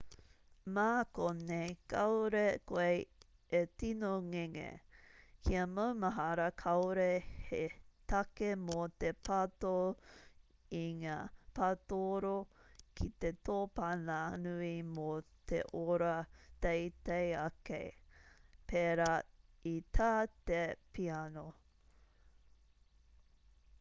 mā konei kāore koe e tino ngenge kia maumahara kāore he take mō te pato i ngā patooro ki te tōpana nui mō te oro teitei ake pērā i tā te piano